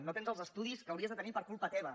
no tens els estudis que hauries de tenir per culpa teva